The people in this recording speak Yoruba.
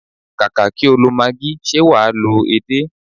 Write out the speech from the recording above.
Kàkà kí o lo maagí, ṣe wà á lo edé?